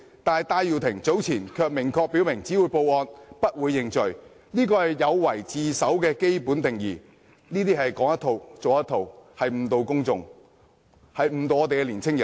但是，戴耀廷早前卻明確表示只會報案，不會認罪，這是有違自首的基本定義，是說一套，做一套，誤導公眾，誤導年青人。